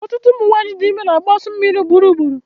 Ọtụtụ ụmụ nwanyị dị ime na-agbụ asọ mmiri ugboro ugboro